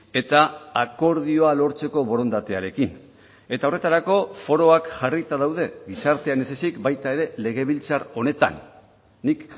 eta akordioa lortzeko borondatearekin eta horretarako foroak jarrita daude gizartean ez ezik baita ere legebiltzar honetan nik